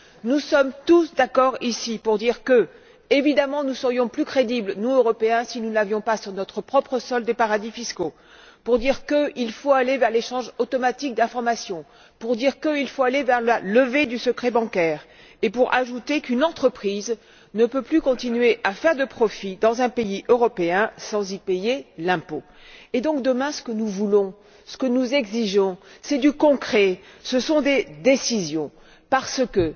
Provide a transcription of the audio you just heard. Nous sommes tous d'accord, ici, pour dire que, évidemment, nous serions plus crédibles, nous Européens, si nous n'avions pas, sur notre propre sol, des paradis fiscaux, pour dire qu'il faut aller vers l'échange automatique d'informations, pour dire qu'il faut aller vers la levée du secret bancaire, et pour ajouter qu'une entreprise ne peut plus continuer à faire de profits dans un pays européen sans y payer l'impôt. Et donc, demain, ce que nous voulons, ce que nous exigeons, c'est du concret, ce sont des décisions, parce que